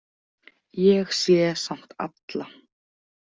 Ég sé samt alla.